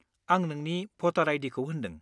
आं नोंनि भटार आइ.डि.खौ होनदों।